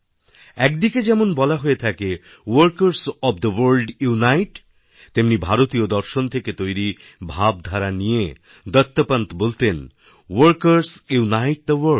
একদিকে যেমন বলা হয়ে থাকে workers of the world unite তেমনি ভারতীয় দর্শন থেকে তৈরি ভাবধারা নিয়েদত্তোপন্ত বলতেন ওয়ার্কারস ইউনিথেথে ভোর্ল্ড